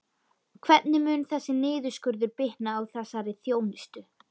Hvernig mun þessi niðurskurður bitna á þessari þjónustu?